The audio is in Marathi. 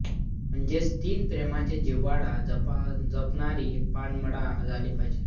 म्हणजेच तिने प्रेमाचा जिव्हाळा जपणारी पानमळा झाली पाहिजे